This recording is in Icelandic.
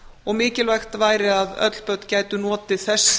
og mikilvægt væri að öll börn gætu notið þess